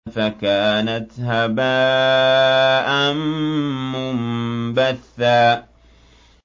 فَكَانَتْ هَبَاءً مُّنبَثًّا